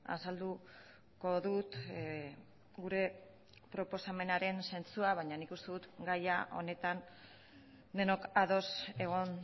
azalduko dut gure proposamenaren zentzua baina nik uste dut gaia honetan denok ados egon